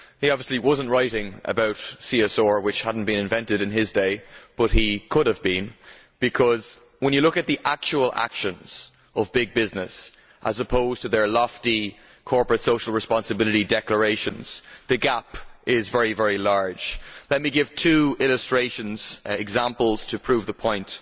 He obviously was not writing about CSR, which had not been invented in his day, but he could have been, because when you look at the actual actions of big business as opposed to their lofty corporate social responsibility declarations, the gap is very large. Let me give two illustrations, examples, to prove the point.